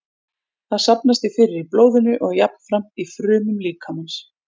Það safnast því fyrir í blóðinu og jafnframt í frumum líkamans.